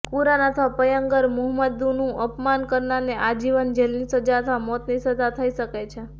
કુરાન અથવા પયગંબરમુહમ્મદનું અપમાન કરનારને આજીવન જેલની સજા અથવા મોતની સજા થઈ શકે છે